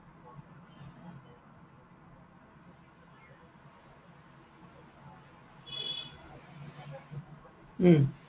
উম